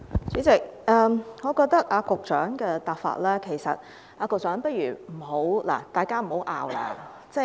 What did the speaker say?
主席，我覺得局長的回答方法......局長，不如大家別爭拗。